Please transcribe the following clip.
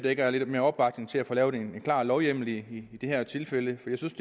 ikke er lidt mere opbakning til at få lavet en klar lovhjemmel i det her tilfælde for jeg synes